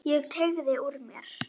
Ég teygði úr mér.